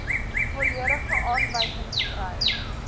volledige aanwysings kry